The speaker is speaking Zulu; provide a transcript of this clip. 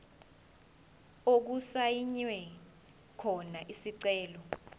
okusayinwe khona isicelo